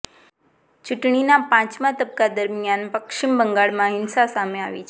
ચૂંટણાના પાંચમાં તબક્કા દરમિયાન પશ્ચિમ બંગાળમાં હિંસા સામે આવી છે